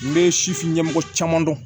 N bɛ sifin ɲɛmɔgɔ caman dɔn